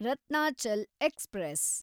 Ratnachal express